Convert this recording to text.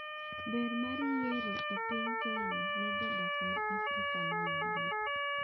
Ber mar yiero e piny Kenya ne jodak mag Afrika ma Ugwe